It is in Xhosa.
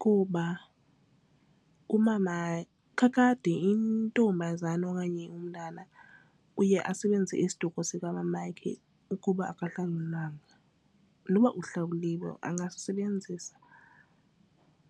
Kuba umama kakade intombazana okanye umntana uye asebenzise isiduko sikamamakhe ukuba akahlawulwanga, nokuba uhlawuliwe angasebenzisa.